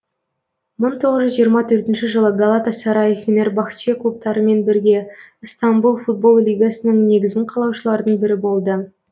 мың тоғыз жүз жиырма төртінші жылы галатасарай фенербахче клубтарымен бірге ыстанбұл футбол лигасының негізін қалаушылардың бірі болды